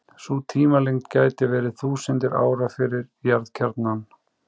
Sú tímalengd gæti verið þúsundir ára fyrir jarðkjarnann.